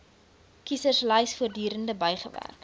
kieserslys voortdurend bygewerk